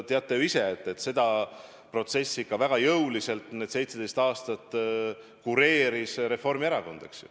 Te teate ju ise, et seda protsessi ikka väga jõuliselt 17 aastat kureeris Reformierakond.